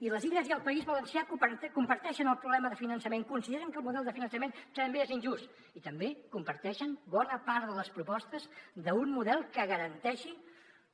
i les illes i el país valencià comparteixen el problema de finançament consideren que el model de finançament també és injust i també comparteixen bona part de les propostes d’un model que garanteixi